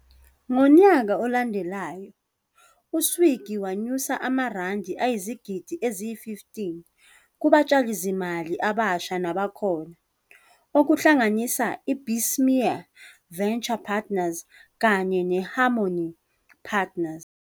Ngonyaka olandelayo, u-Swiggy wanyusa amaRandi ayizigidi eziyi-15 kubatshalizimali abasha nabakhona, okuhlanganisa iBessemer Venture Partners kanye neHarmony Partners.